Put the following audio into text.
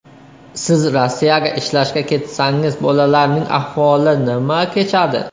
Siz Rossiyaga ishlashga ketsangiz bolalarning ahvoli nima kechadi?